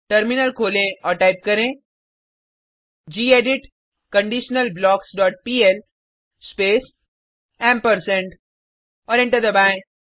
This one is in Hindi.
टर्मिनल खोलें और टाइप करें gedit conditional blocks dot PL space और एंटर दबाएँ